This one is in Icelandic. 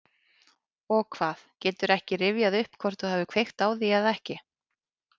Og hvað, geturðu ekki rifjað upp hvort þú hafir kveikt á því eða ekki?